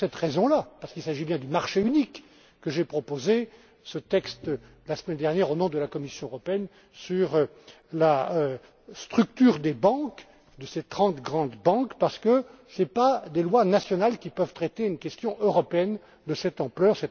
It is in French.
C'est pour cette raison, parce qu'il s'agit bien du marché unique, que j'ai proposé ce texte la semaine dernière, au nom de la Commission européenne, sur la structure des banques, de ces trente grandes banques, parce que ce ne sont pas des lois nationales qui peuvent traiter une question européenne de cette ampleur.